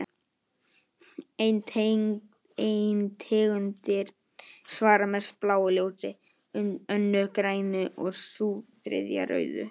Ein tegundin svarar mest bláu ljósi, önnur grænu og sú þriðja rauðu.